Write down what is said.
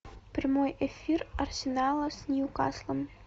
прямой эфир арсенала с ньюкаслом